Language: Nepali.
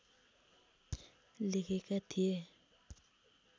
लेखेका थिए